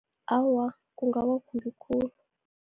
Awa, kungaba kumbi khulu.